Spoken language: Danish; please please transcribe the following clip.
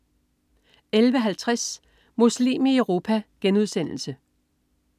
11.50 Muslim i Europa*